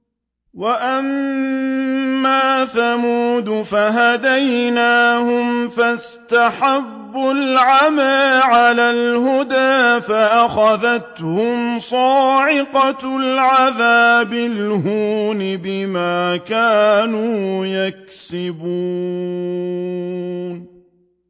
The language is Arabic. وَأَمَّا ثَمُودُ فَهَدَيْنَاهُمْ فَاسْتَحَبُّوا الْعَمَىٰ عَلَى الْهُدَىٰ فَأَخَذَتْهُمْ صَاعِقَةُ الْعَذَابِ الْهُونِ بِمَا كَانُوا يَكْسِبُونَ